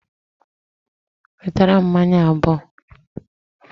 Wetara m mmanya abuo